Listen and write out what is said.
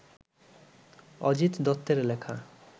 অজিত দত্তের লেখা